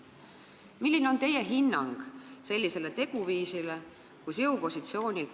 Milline on teie hinnang sellisele teguviisile?